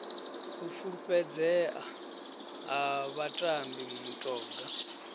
u fulufhedzea ha vhatambi mutoga